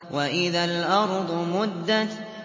وَإِذَا الْأَرْضُ مُدَّتْ